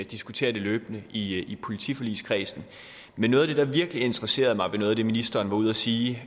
diskuterer det løbende i politiforligskredsen men noget af det der virkelig interesserede mig ved det ministeren var ude og sige